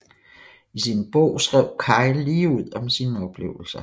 I sin bog skrev Kyle ligeud om sine oplevelser